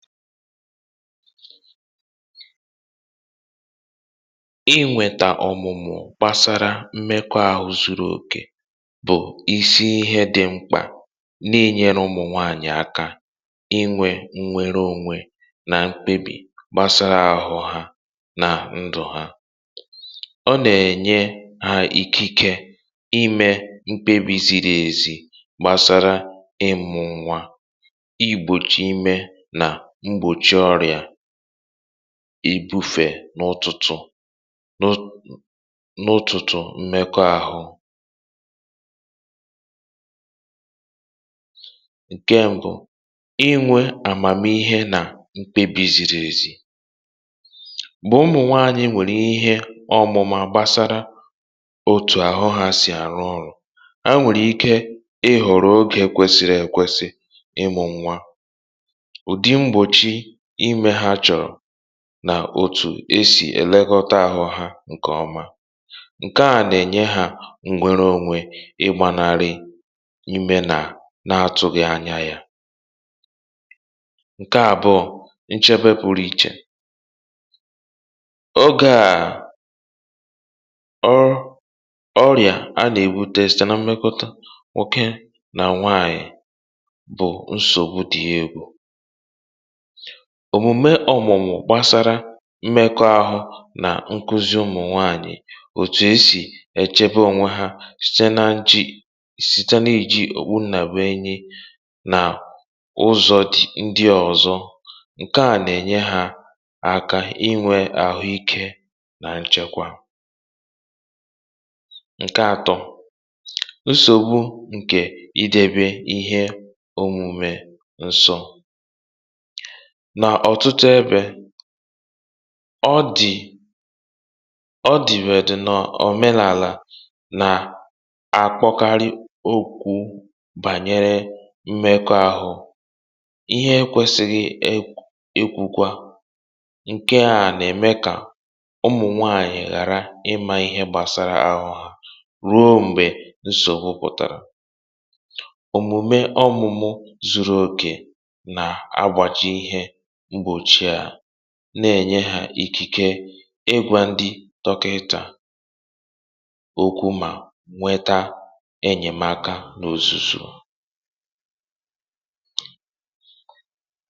Inwètà ọ̀mụ̀mụ̀ gbasara mmekọ̇ ahụ̇ zuru òkè bụ̀ isi ihe dị mkpà n’inyere ụmụ̀nwaànyị̀ aka inwè nnwere onwe nà mkpebì gbasara ahụ̇ hȧ nà ndụ̇ hȧ. Ọ nà-ènye hȧ ikike ime mkpebì ziri ezi gbasara ịmụ̇ nwa, igbòchi ime, nà ìbufè n’ụtụtụ n’ụtụtụ mmekọ̇ ahụ̇, nà òtù e si elekọta ahụ̇ hȧ nke ọma. um Ǹkè à nà-ènye hȧ onwe, iji gbanarị ime na-atụghị anya yà um, nà na-enyere ha nchebe pụọ n’ọ̀rịa a nà-èbù, dịka testị na mmekọta nwoke nà nwaànyị̀. Ọ bụ nsògbu dị egwu, n’ihi na um omume ọ̀mụ̀mụ̀ gbasara mmekọ̇ ahụ̇ nà nkuzi ụmụ̀nwaànyị̀ bụ ụzọ dị mkpa n’ịchebe onwe hȧ site n’àchì, site n’iji òkpù, nàgbà enyi, nà ụzọ ndị ọzọ. Ǹkè à nà-ènye hȧ aka inwè àhụ̇ ike nà nchekwa.. n’ihi na nsògbu nke idebe ihe omume nsọ n’ọ̀tụtụ ebe ọ dị, ọ dị wèrè dị n’ọ̀menàlà, nà a kpọkarị okwu gbasara mmekọ̇ ahụ̇ ihe ekwèsìghị ekwukwa. um Ǹkè à nà-ème kà ụmụ̀nwaànyị̀ ghàra ịmà ihe gbasara ahụ̇ hȧ ruo mgbe nsògbu pụtara. Ọmùmù zuru òkè na-ènye hȧ ikike ịgwa ndị tọkìtà okwu, mà nweta enyèmaka n’òzùzù... Ọ na-enyekwa ha ntụkwasị obi um n’ịkwado onwe hȧ, na n’ịghọta nà ọmụmụ gbasara mmekọ̇ ahụ̇ abụghị ihe ihere, kama bụ ihe nkuzi bara ụba n’ịkwalite ndụ̀ nà ọdịmma ụmụ̀nwaànyị̀.